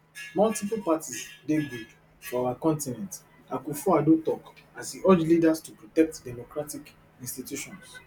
multiple parties dey good for our continent akufoaddo tok as e urge leaders to protect democratic institutions